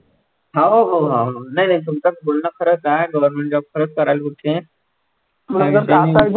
हाव भाऊ भाऊ नाही नाही तुमचं बोलणं खरचं आहे government job खरचं करावी बहुतेक